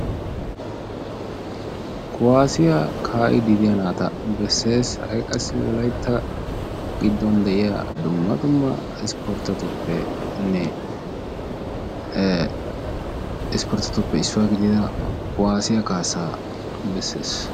kuwaasiya kaa'iiddi diya naata besses. harayikka wolayittan de'iya dumma dumma isporttetuppenne isporttiyappe issuwa gidida kuwasiya kaassa besses.